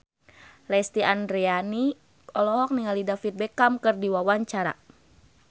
Lesti Andryani olohok ningali David Beckham keur diwawancara